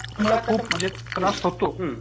म्हणजे त्रास होतो